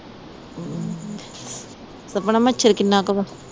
ਸਪਨਾ ਮੱਛਰ ਕਿੰਨਾ ਕ ਵਾ